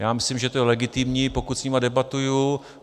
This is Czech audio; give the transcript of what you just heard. Já myslím, že to je legitimní, pokud s nimi debatuji.